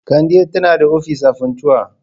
Kande tana da ofis a Funtua.